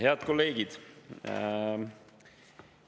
Head kolleegid!